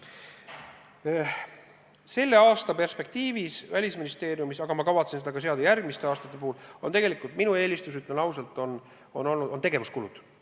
Selle aasta perspektiivis on Välisministeeriumis – aga ma kavatsen selle eesmärgiks seada ka järgmistel aastatel – tegelikult minu eelistus, ütlen ausalt, tegevuskulud.